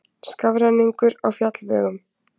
Skafrenningur á fjallvegum